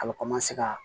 A bɛ ka